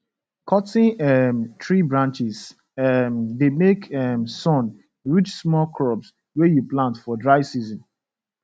cuttin um tree branches um dey make um sun reach small crops wey you plant for dry season